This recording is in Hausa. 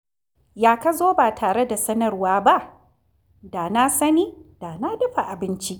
Ya ka zo ba tare da sanarwa ba? Da na sani, da na dafa abinci.